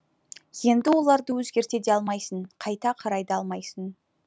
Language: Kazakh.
енді оларды өзгерте де алмайсың қайта қарай да алмайсың